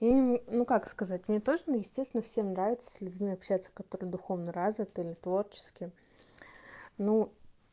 ну как сказать мне тоже естественно всем нравится с людьми общаться которые духовно развиты или творчески ну